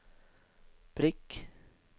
prikk